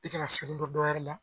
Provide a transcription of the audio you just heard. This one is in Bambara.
I kana segɛn don dɔwɛrɛ la.